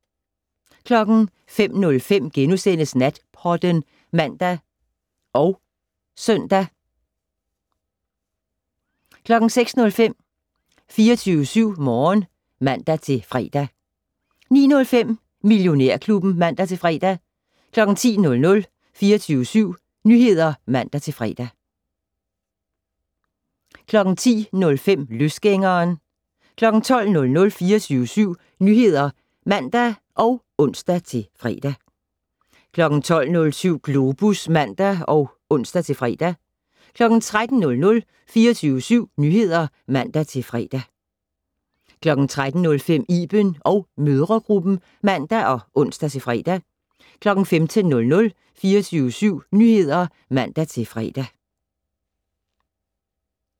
05:05: Natpodden *(man og søn) 06:05: 24syv Morgen (man-fre) 09:05: Millionærklubben (man-fre) 10:00: 24syv Nyheder (man-fre) 10:05: Løsgængeren 12:00: 24syv Nyheder (man og ons-fre) 12:07: Globus (man og ons-fre) 13:00: 24syv Nyheder (man-fre) 13:05: Iben & mødregruppen (man og ons-fre) 15:00: 24syv Nyheder (man-fre)